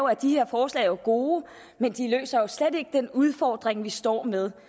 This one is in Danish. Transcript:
at de her forslag jo er gode men de løser slet ikke den udfordring vi står med